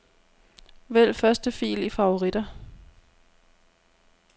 Vælg første fil i favoritter.